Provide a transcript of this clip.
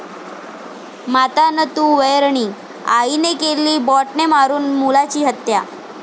माता न तू वैरणी, आईने केली बॅटने मारुन मुलाची हत्या